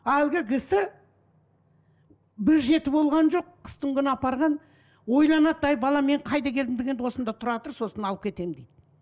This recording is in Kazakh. әлгі кісі бір жеті болған жоқ қыстыңгүні апарған ойланады әй балам мен қайда келдім дегенде осында тұра тұр сосын алып кетемін дейді